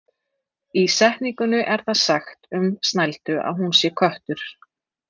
Í setningunni er það sagt um Snældu að hún sé köttur.